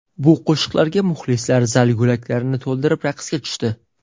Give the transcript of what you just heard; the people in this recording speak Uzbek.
Bu qo‘shiqlarga muxlislar zal yo‘laklarini to‘ldirib raqsga tushdi.